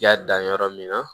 Y'a dan yɔrɔ min na